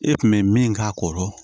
E kun be min k'a kɔrɔ